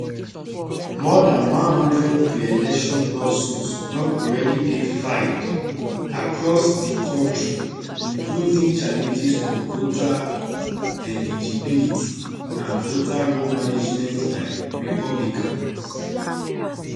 more dan one hundred preelection lawsuits don already dey filed across di kontri including challenges to voter eligibility and voter roll management by republicans